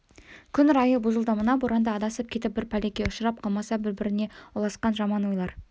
күн райы бұзылды мына боранда адасып кетіп бір пәлеге ұшырап қалмаса біріне бірі ұласқан жаман ойлар